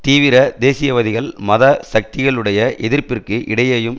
தீவிர தேசியவாதிகள் மத சக்திகளுடைய எதிர்ப்பிற்கு இடையேயும்